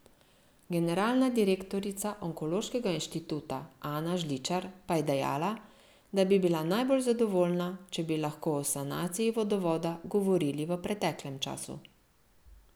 Generalna direktorica onkološkega inštituta Ana Žličar pa je dejala, da bi bila najbolj zadovoljna, če bi lahko o sanaciji vodovoda govorili v preteklem času.